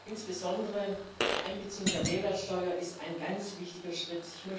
Insbesondere die Einbeziehung der Mehrwertsteuer ist ein ganz wichtiger Schritt.